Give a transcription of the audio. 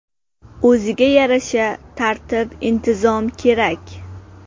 O‘ziga yarasha tartib-intizom kerak.